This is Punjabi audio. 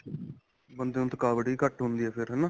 ਬੰਦੇ ਨੂੰ ਥਕਾਵਟ ਵੀ ਘੱਟ ਹੁੰਦੀ ਹੈ ਫ਼ੇਰ ਹੈਨਾ